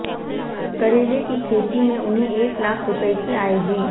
करेले की खेती में उन्हें एक लाख रुपए की आय हुई